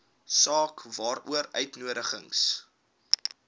saak waaroor uitnodigings